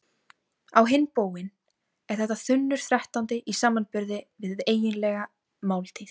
Á hinn bóginn er þetta þunnur þrettándi í samanburði við eiginlega máltíð.